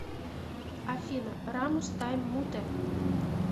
афина рамус тайм муте